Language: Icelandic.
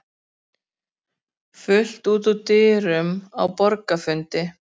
Fullt út úr dyrum á borgarafundi